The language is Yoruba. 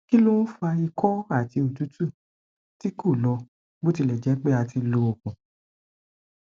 ki lo n fa iko ati otutu ti ko lo botilejepe a ti lo oogun